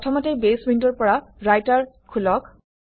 প্ৰথমতে বেছ উইণ্ডৰ পৰা ৰাইটাৰ খোলক